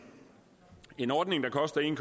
en ordning der koster en